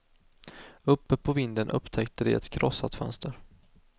Uppe på vinden upptäckte de ett krossat fönster.